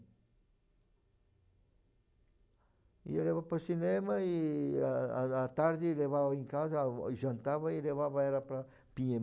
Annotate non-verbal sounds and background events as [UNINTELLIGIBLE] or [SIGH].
Ia, leva para cinema e à à à tarde levava em casa, [UNINTELLIGIBLE] jantava e levava ela para